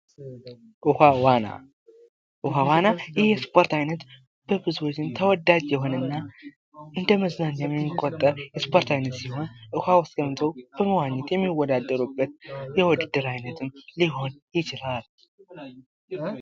ዉኃ ዋና:- ዉኃ ዋና ይህ የስፖርት አይነት በብዙዎች ዘንድ ተወዳጅ የሆነ እና እንደ መዝናኛ የሚቆጠር የስፖርት አይነት ሲሆን ዉኃ ዉስጥ ገብተዉ የሚወዳደሩበት የዉድድር አይነት ሊሆን ይችላል።